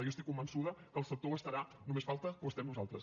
jo estic convençuda que el sector ho estarà només falta que ho estem nosaltres